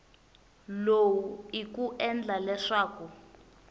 lowu i ku endla leswaku